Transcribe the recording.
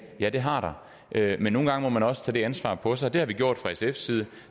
ja det har der men nogle gange må man også tage det ansvar på sig og det har vi gjort fra sfs side